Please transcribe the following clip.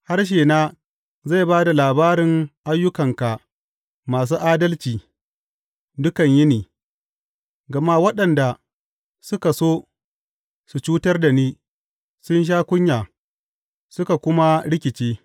Harshena zai ba da labarin ayyukanka masu adalci dukan yini, gama waɗanda suka so su cutar da ni sun sha kunya suka kuma rikice.